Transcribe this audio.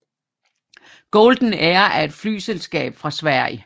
Golden Air er et flyselskab fra Sverige